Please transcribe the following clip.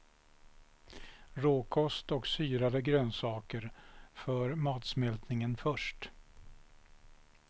Råkost och syrade grönsaker för matsmältningen först.